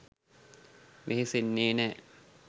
වෙහෙසෙන්නේ නෑ.